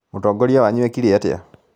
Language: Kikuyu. Mũtongoria wanyu ekire atĩa?